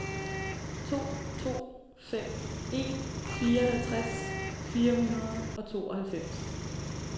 to to fem en fireoghalvtreds fire hundrede og tooghalvfems